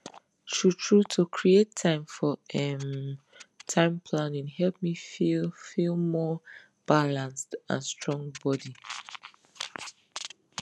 truetrue to create time for um time planning help me feel feel more balanced and strong body